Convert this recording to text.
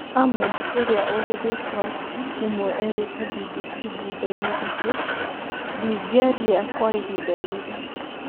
Ahmed ũrĩa ũrĩ rĩtwa rĩmwe erĩte BBC thutha inĩ atĩ ‘’ndingĩaria kwa ihinda rĩrĩ’’